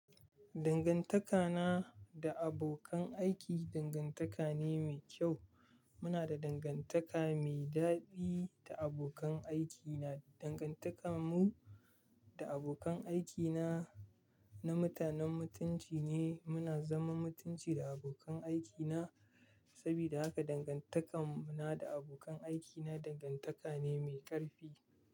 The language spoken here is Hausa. Dangantakana da abokan aiki dangantaka ne mai kyau. Muna da dangantaka mai daɗi da abokan aikina. Dangantakar mu da abokan aiki na, na mutanen mutunci ne. Muna zaman mutunci da abokan aiki na. Saboda haka dangantakar mu na da abokan aiki na dangantaka ne mai ƙarfi.